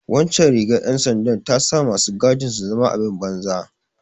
Waccan rigar ’yan sandar ta sa masu gadin su zama abin banza.